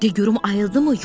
De görüm ayıldımı?